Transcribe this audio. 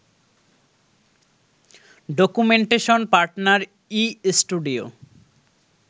documentation partner ই studio